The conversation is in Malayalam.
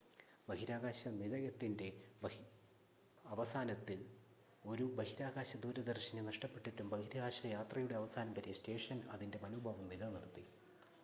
ബഹിരാകാശ നിലയത്തിൻ്റെ അവസാനത്തിൽ ഒരു ബഹിരാകാശ ദൂരദർശിനി നഷ്ടപ്പെട്ടിട്ടും ബഹിരാകാശയാത്രയുടെ അവസാനം വരെ സ്റ്റേഷൻ അതിൻ്റെ മനോഭാവം നിലനിർത്തി